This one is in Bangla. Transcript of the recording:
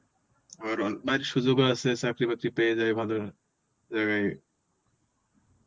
আবার অল~ সুযোগও আছে চাকরি বাকরি পেয়ে যায় ভালো জায়গায়.